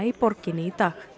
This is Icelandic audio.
í borginni í dag